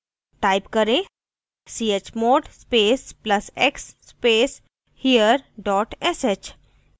type करें chmod space plus x space here dot sh